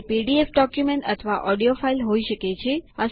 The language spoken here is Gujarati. તે પીડીએફ ડોક્યુમેન્ટ અથવા ઓડિયો ફાઈલ હોઈ શકે છે